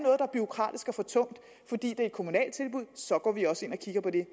bureaukratisk og for tungt fordi det er et kommunalt tilbud så går vi også ind og kigger på det